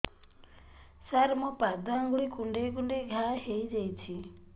ସାର ମୋ ପାଦ ଆଙ୍ଗୁଳି କୁଣ୍ଡେଇ କୁଣ୍ଡେଇ ଘା ହେଇଯାଇଛି